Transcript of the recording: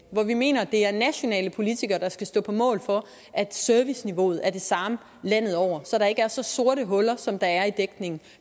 hvor vi mener at det er nationale politikere der skal stå på mål for at serviceniveauet er det samme landet over så der ikke er så sorte huller som der er i dækningen